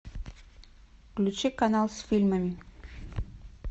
включи канал с фильмами